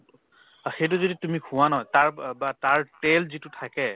অ, সেইটো যদি তুমি খোৱা নহয় তাৰ বা বা তাৰ তেল যিটো থাকে